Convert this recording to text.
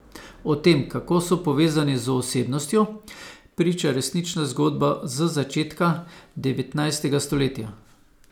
O tem, kako so povezani z osebnostjo, priča resnična zgodba z začetka devetnajstega stoletja.